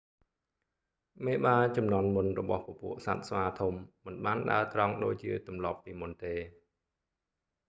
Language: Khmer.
មេបាជំនាន់មុនរបស់ពពួកសត្វស្វាធំមិនបានដើរត្រង់ដូចជាទម្លាប់ពីមុនទេ